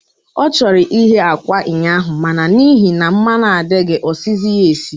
Ọ chọrọ ighe akwa ụnyaahụ, ma na n'ihi na mmanụ adịghị, o siziri ya esi.